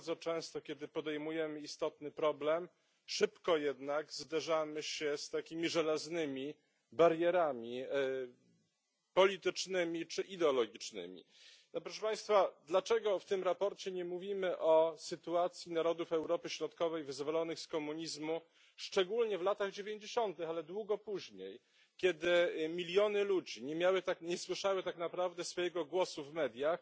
Bardzo często, kiedy podejmujemy istotny problem, szybko zderzamy się z takimi żelaznymi barierami politycznymi czy ideologicznymi. Dlaczego, proszę państwa, w tym sprawozdaniu nie mówimy o sytuacji narodów Europy Środkowej wyzwolonych z komunizmu, szczególnie w latach dziewięćdziesiątych, ale i długo później, kiedy miliony ludzi nie miały, nie słyszały tak naprawdę swojego głosu w mediach